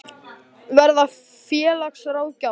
Verða félagsráðgjafar?